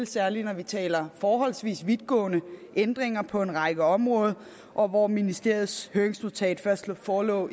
særlig når vi taler forholdsvis vidtgående ændringer på en række områder områder ministeriets høringsnotat forelå